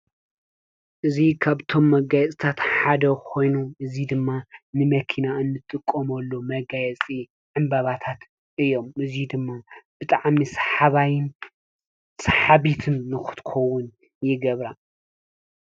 እዚ ካብቶም መጋየፅታት ሓደ ኾይኑ እዚ ድማ ንመኪና እንጥቀመሉ መጋየፂ ዕምበባታት እዮም። እዚ ድማ ብጣዕሚ ሰሓባይን ሰሓቢትን ንኽትኸውን ይገብራ።